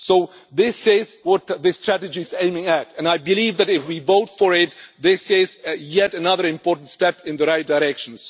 So this says what this report is aiming at, and I believe that if we vote for it this is yet another important step in the right direction.